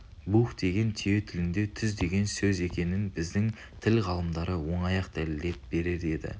буһ деген түйе тілінде түз деген сөз екенін біздің тіл ғалымдары оңай-ақ дәлелдеп берер еді